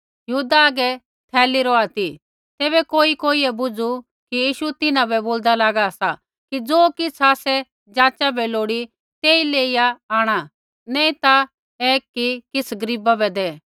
यहूदा आगै थैली रौहा ती तैबै कोई कोइयै बुझू कि यीशु तिन्हां बै बोल्दा लागा सा कि ज़ो किछ़ आसै जाचा बै लोड़ी तेई लेईया आंण नैंई ता ऐ कि किछ़ गरीबा बै दै